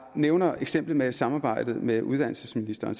nævner eksemplet med samarbejdet med uddannelsesministeren